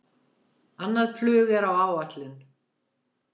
Annað flug er á áætlun